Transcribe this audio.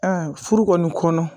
furu kɔni kɔnɔ